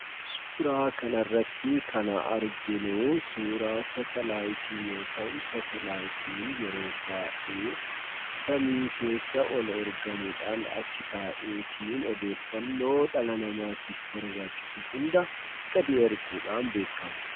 Suuraa kanarratti kan arginuu suuraa saatalaayitii yommuu ta'u, saatalayiitiin yeroo baayyee samii keessa ol ergamuudhaan achi taa'eetiin odeeffannoo dhala namaatiif barbaachisu hunda gadi erguudhaan beekkama.